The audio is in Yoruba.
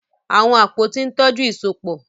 Àwọn àpótí ń tọ́jú ìsopọ̀.